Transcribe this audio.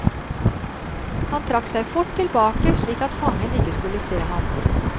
Han trakk seg fort tilbake, slik at fangen ikke skulle se ham.